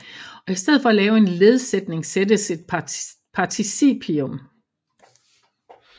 Og i stedet for at lave en ledsætning sættes et participium